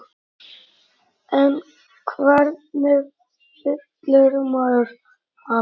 En hvernig fyllir maður hann?